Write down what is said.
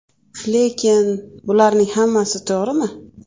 Lekin bularning hammasi to‘g‘rimi?